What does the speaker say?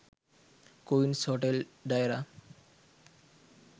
queens hotel deira